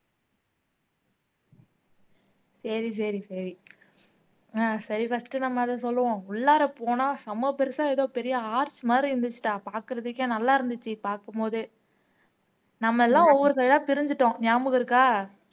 சரி சரி சரி சரி ஆஹ் சரி first நம்ம அத சொல்லுவோம் உள்ளாற போனா செம பெருசா ஏதோ பெரிய ஆர்ச் மாதிரி இருந்துச்சுடா பார்க்கிறதுக்கே நல்லா இருந்துச்சு பார்க்கும் போதே நம்ம எல்லாம் ஒவ்வொரு தரையா பிரிஞ்சிட்டோம் ஞாபகம் இருக்கா